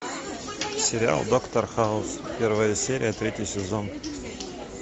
сериал доктор хаус первая серия третий сезон